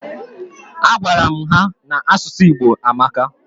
A gwara m ha n'asụsụ Igbo amaka